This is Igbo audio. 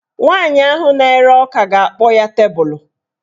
Nwaanyị ahụ na-ere ọka ga-akpọ ya tebulu